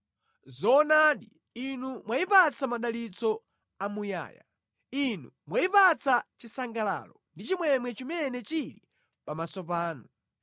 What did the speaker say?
Zoonadi Inu mwayipatsa madalitso amuyaya, Inu mwayipatsa chisangalalo ndi chimwemwe chimene chili pamaso panu.